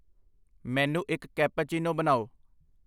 ਮੈਨੂੰ ਇੱਕ ਕੈਪੂਚੀਨੋ ਬਣਾਉ